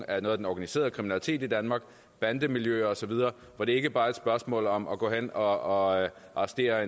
af den organiserede kriminalitet i danmark bandemiljøer osv hvor det ikke bare er et spørgsmål om at gå hen og arrestere